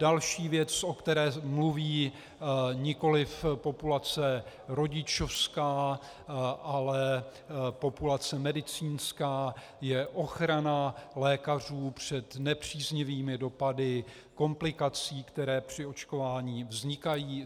Další věc, o které mluví nikoliv populace rodičovská, ale populace medicínská, je ochrana lékařů před nepříznivými dopady komplikací, které při očkování vznikají.